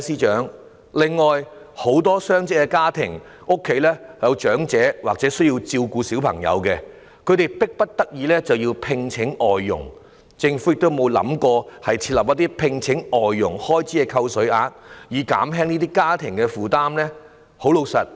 此外，很多雙職家庭均有長者或需要照顧的小朋友，他們迫不得已聘請外傭，政府有否考慮就聘請外傭的開支設立扣稅額，以減輕這些家庭的負擔呢？